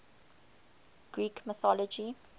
greek mythology